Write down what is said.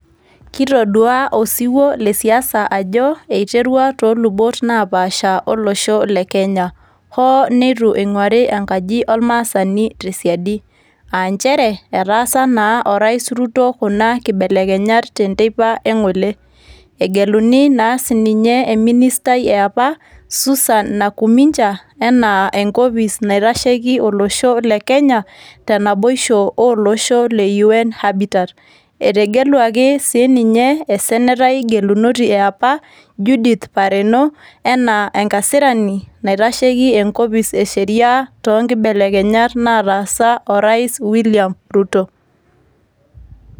Kitodua osiwuo lesiasa ajo iterua tolubot napaasha olosho le Kenya. Hoo neitu ing'uari enkaji ormaasai tesiadi. Ah njere, etaasa naa o rais Ruto kuna kibelekenyak tenteipa eng'ole. Egeluni naa sininye e ministai eapa, Susan Nakuminja, enaa enkopis naitasheki olosho le Kenya, tenaboisho oloshon le UN Habbitat. Etegeluaki sininye e senatai gelunoti eapa, Judith Pareno, enaa enkasirani naitasheki enkopis e sheria ,to nkibelekenyat nataasa o rais William Ruto.